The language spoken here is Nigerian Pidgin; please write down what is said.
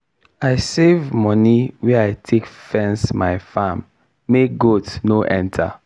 i save moni wey i take fence my farm make goat no enter.